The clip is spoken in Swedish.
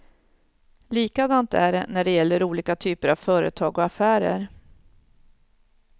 Likadant är det när det gäller olika typer av företag och affärer.